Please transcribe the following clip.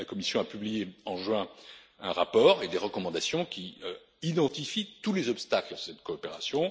La Commission a publié, en juin, un rapport et des recommandations qui identifient tous les obstacles à cette coopération.